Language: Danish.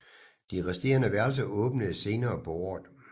De resterende værelser åbnede senere på året